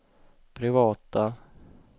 privata